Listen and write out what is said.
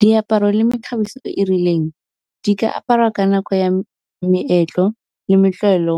Diaparo le mekgabiso e e rileng di ka aparwa ka nako ya meetlo le